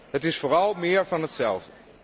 Het is vooral meer van hetzelfde.